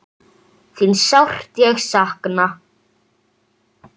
Þín sárt ég sakna.